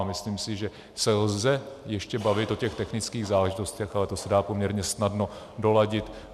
A myslím si, že se lze ještě bavit o těch technických záležitostech, ale to se dá poměrně snadno doladit.